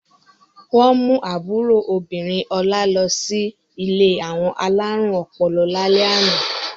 Wọ́n mú àbúrò obìnrin Ọlá lọ sí ilé àwọn alárùn ọpọlọ lálẹ́ àná.